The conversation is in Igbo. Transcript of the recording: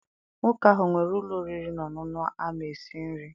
Nwoke ahụ nwere ụlọ oriri na ọṅụṅụ ama esi nri?